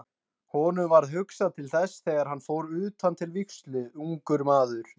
Honum varð hugsað til þess þegar hann fór utan til vígslu, ungur maður.